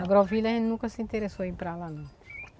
A agrovila a gente nunca se interessou em ir para lá não.